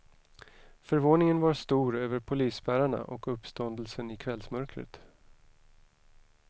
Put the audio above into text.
Förvåningen var stor över polisspärrarna och uppståndelsen i kvällmörkret.